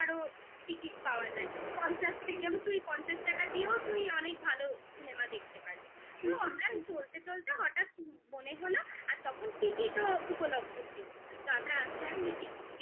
ticket পাওয়া যায় হুম হুম পঞ্চাশ থেকে আমি তুই পঞ্চাশ টাকা দিয়েও তুই অনেক ভালো cinema দেখতে পারবি হুম হুম তো আমরা চলতে চলতে হঠাৎ মনে হলো আর তখন টিকিটও উপলব্ধ ছিল তো আমরা আস্তে হুম আস্তে টিকিট কেটে